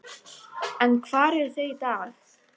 En hvar eru þau í dag?